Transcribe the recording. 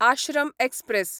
Ashram express